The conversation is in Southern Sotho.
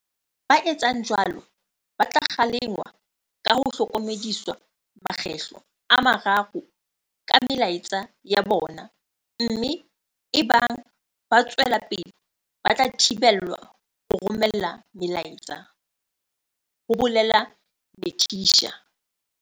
Ba etsang jwalo ba tla kgalengwa ka ho hlokomediswa makgetlo a mararo ka melaetsa ya bona mme ebang ba tswela pele ba tla thibelwa ho romela melaetsa, ho bolela Netshiya.